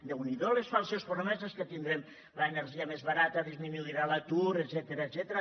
déu n’hi do les falses promeses que tindrem l’energia més barata disminuirà l’atur etcètera